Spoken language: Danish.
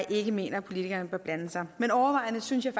ikke mener at politikerne bør blande sig men overvejende synes jeg